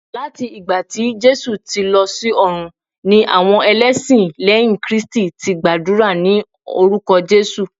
lati ìgbà tí Jésù ti lọ s'ọrun ni àwọn elesin lẹyìn kristi ti gbàdúrà ni orúkọ jesu